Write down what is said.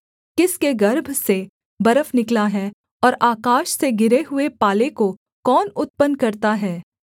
किसके गर्भ से बर्फ निकला है और आकाश से गिरे हुए पाले को कौन उत्पन्न करता है